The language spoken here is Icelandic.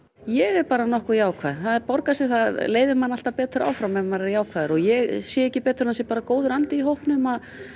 ég er bara nokkuð jákvæð það borgar sig það leiðir mann alltaf betur áfram ef maður er jákvæður og ég sé ekki betur en það sé bara góður andi í hópnum að